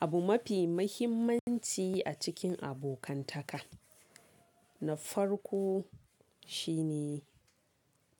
Abu mafi muhimmanci a cikin abokantaka. Na farko shine